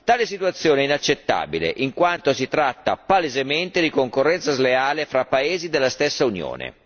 Tale situazione è inaccettabile, in quanto si tratta palesemente di concorrenza sleale fra paesi della stessa Unione.